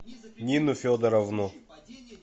нину федоровну